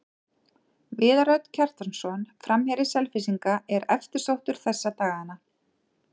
Viðar Örn Kjartansson, framherji Selfyssinga, er eftirsóttur þessa dagana.